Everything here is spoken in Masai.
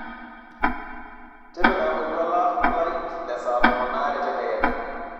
tipika oltuala lai lesaa tomon aare tedekenya